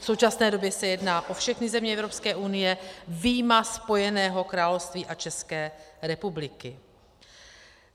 V současné době se jedná o všechny země Evropské unie vyjma Spojeného království a České republiky.